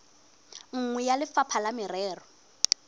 nngwe ya lefapha la merero